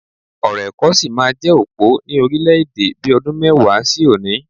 Ọ̀rọ̀ ẹ̀kọ́ sí máa jẹ́ òpó ni orílẹ̀-èdè bi ọdún mẹ́wàá sí òní